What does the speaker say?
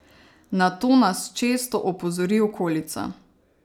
Na to nas često opozori okolica.